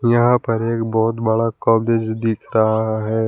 यहां पर एक बहुत बड़ा कॉलेज दिख रहा है।